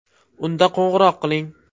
Unda qo‘ng‘iroq qiling!